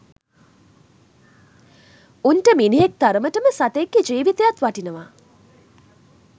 උන්ට මිනිහෙක් තරමටම සතෙක් ගේ ජීවිතයත් වටිනවා